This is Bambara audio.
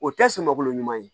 O tɛ sumankolo ɲuman ye